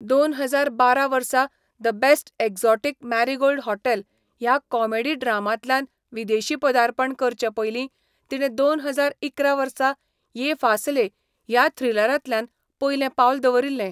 दोन हजार बारा वर्सा the best exotic marigold hotel ह्या कॉमेडी ड्रामांतल्यान विदेशी पदार्पण करचे पयलीं तिणे दोन हजार इकरा वर्सा ये फासले ह्या थ्रिलरांतल्यान पयलें पावल दवरिल्लें.